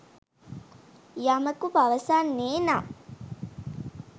යමකු පවසන්නේ නම්